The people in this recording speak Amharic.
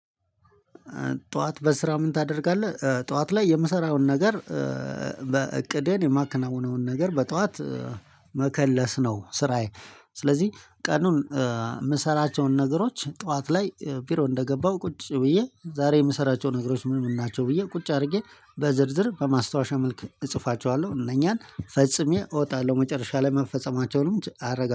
ጠዋት በስራ ምን? ታደርጋለህ ጠዋት ላይ የምሰራውን ነገር በእቅድህን የማከናውነውን ነገር በጠዋት መከለስ ነው ስራዬ። ስለዚህ ቀኑን የምሰራቸውን ነገሮች ጠዋት ላይ ቢሮ እንደገባው ቁጭ ብዬ ዛሬ የምሰራቸው ነገሮች ምን ምን ናቸው ብዬ ቁጭ አድርጌ በዝርዝር በማስታወሻ መልክ እጽፋቸዋለሁ እነኛን ፈጽሜ እወጣለሁ መጨረሻ ላይ መፈጸማቸውን አረጋግጣለው